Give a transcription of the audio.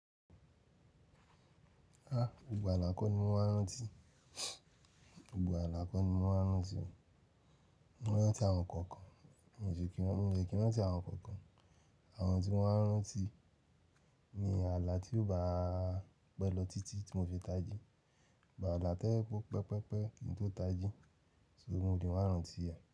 Ha! Gbogbo ààlà kọ́ ni mo máa ń rántí, gbogbo ààlà kọ́ ni mo máa ń rántí, mo máa ń rántí àwọn kọ̀ọ̀kan, mo le kí í rántí àwọn kọ̀ọ̀kan. Àwọn tí mo máa ń rántí ni ààlà tí ó bá pẹ́ lọ títí tí mo fi tají, ààlà tẹ́ pọ́ pẹpẹ́pẹ́ ni tó tají, sórí mo lè máa rántí rẹ̀